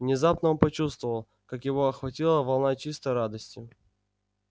внезапно он почувствовал как его охватила волна чистой радости